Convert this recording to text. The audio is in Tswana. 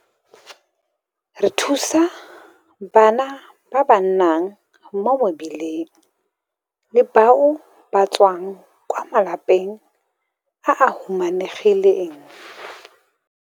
Re thusa bana ba ba nnang mo mebileng le bao ba tswang kwa malapeng a a humanegileng.